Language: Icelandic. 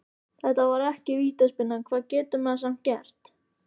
Þetta var ekki vítaspyrna, hvað getur maður samt gert?